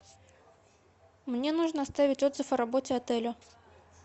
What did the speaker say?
мне нужно оставить отзыв о работе отеля